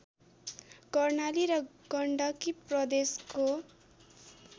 कर्णाली र गण्डकी प्रदेशको